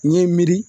N ye n miiri